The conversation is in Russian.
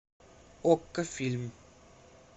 окко фильм